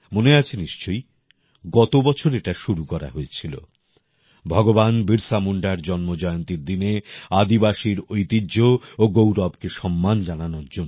মনে আছে নিশ্চয়ই গত বছর এটা শুরু করা হয়েছিল ভগবান বিরসা মুন্ডার জন্মজয়ন্তীর দিনে আদিবাসীর ঐতিহ্য ও গৌরবকে সম্মান জানানোর জন্য